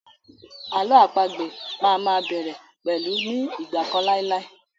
Àlọ́ àpagbè má a má bẹ̀rẹ̀ pẹ̀lú 'ní ìgbà kan láì láì'.